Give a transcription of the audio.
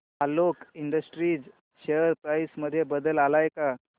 Alok industries share price मध्ये बदल आलाय का